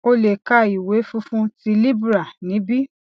o lè ka ìwé funfun ti libra níbí